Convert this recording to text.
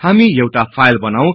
हामी एउटा फाईल बनाऔ